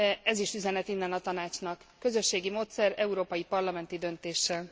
Ez is üzenet innen a Tanácsnak közösségi módszer, Európai Parlamenti döntéssel.